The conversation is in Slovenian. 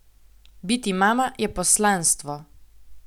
Biti mama je poslanstvo!